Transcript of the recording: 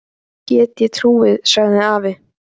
Því get ég trúað, sagði afi.